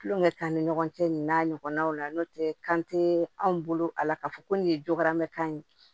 Kulonkɛ k'an ni ɲɔgɔn cɛ nin n'a ɲɔgɔnnaw la n'o tɛ kan tɛ anw bolo a la k'a fɔ ko nin ye jogaramɛkan ye